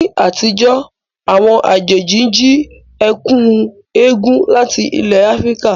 Ní àtijọ́, àwọn àjèjì ń jí ẹ̀kú égún láti ilẹ̀ Áfíríkà